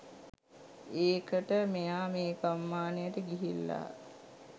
ඒකට මෙයා මේ ගම්මානයට ගිහිල්ලා